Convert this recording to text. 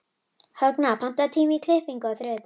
Högna, pantaðu tíma í klippingu á þriðjudaginn.